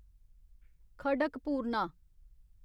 Khadakpurna